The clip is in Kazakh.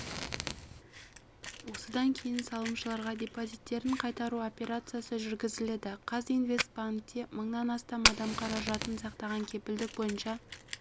осыдан кейін салымшыларға депозиттерін қайтару операциясы жүргізіледі қазинвестбанкте мыңнан астам адам қаражатын сақтаған кепілдік бойынша